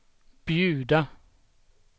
bjuda